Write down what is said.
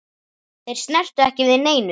Þeir snertu ekki við neinu.